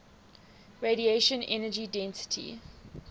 radiation energy density